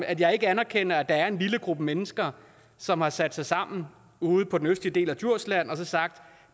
at jeg ikke anerkender at der er en lille gruppe mennesker som har sat sig sammen ude på den østlige del af djursland og sagt